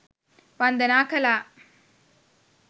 වන්දනා කළා.